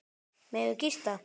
Megum við gista?